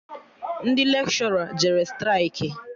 Ndị lekshọra jere straịkị